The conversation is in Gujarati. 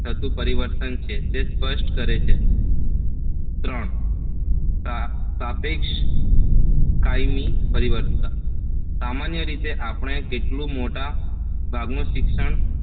થતું પરિવર્તન છે તે સ્પષ્ટ કરે છે ત્રણ સાપેક્ષ કાયમી પરિવર્તન સામાન્ય રીતે આપણે લીધેલું મોટા ભાગનું શિક્ષણ